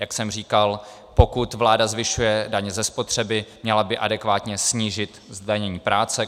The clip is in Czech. Jak jsem říkal, pokud vláda zvyšuje daně ze spotřeby, měla by adekvátně snížit zdanění práce.